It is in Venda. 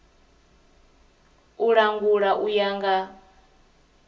u langula u ya nga